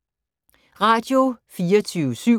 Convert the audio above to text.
Radio24syv